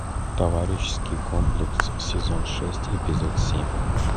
товарищеский комплекс сезон шесть эпизод семь